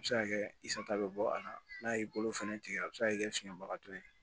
A bɛ se ka kɛ i sata bɛ bɔ a la n'a y'i bolo fɛnɛ tigɛ a bɛ se ka kɛ siŋagato ye